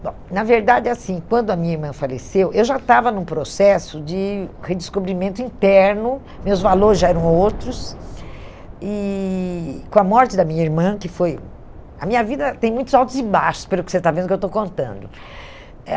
Bom, na verdade é assim, quando a minha irmã faleceu, eu já estava num processo de redescobrimento interno, meus valores já eram outros, e com a morte da minha irmã, que foi... A minha vida tem muitos altos e baixos, pelo que você está vendo que eu estou contando. Eh